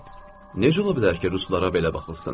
Necə ola bilər ki, ruslara belə baxılsın?